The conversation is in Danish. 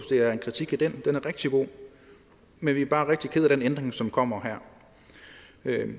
det er en kritik af den den er rigtig god men vi er bare rigtig kede af den ændring som kommer her